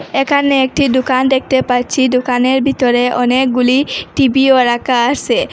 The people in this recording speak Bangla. এখানে একটি দুকান দেখতে পাচ্ছি দুকানের ভিতরে অনেকগুলি টিভিও রাখা আসে।